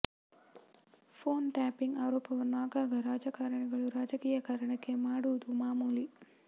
phone tapping ಆರೋಪವನ್ನು ಆಗಾಗ ರಾಜಕಾರಣಿಗಳು ರಾಜಕೀಯ ಕಾರಣಕ್ಕೆೆ ಮಾಡುವುದು ಮಾಮೂಲಿ